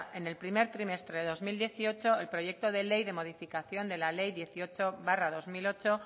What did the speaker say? en el primer trimestre del dos mil dieciocho el proyecto de ley de modificación de la ley dieciocho barra dos mil ocho